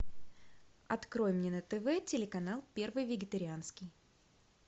открой мне на тв телеканал первый вегетарианский